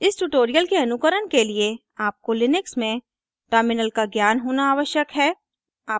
इस ट्यूटोरियल के अनुकरण के लिए आपको लिनक्स में टर्मिनल का ज्ञान होना आवश्यक है